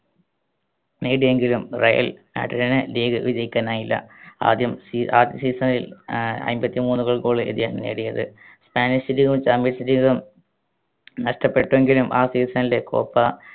നേടിയെങ്കിലും Real മാഡ്രിഡിന് league വിജയിക്കാനായില്ല. ആദ്യം season ൽ ആഹ് അമ്പത്തിമൂന്ന്‌ goal, goal ഇദ്ദേഹം നേടിയത്. സ്പാനിഷ് league ഉം champions league ഉം നഷ്ടപ്പെട്ടെങ്കിലും ആ season ലെ കോപ്പ